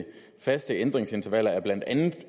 det faste ændringsintervaller er blandt andet